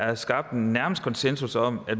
er skabt nærmest konsensus om at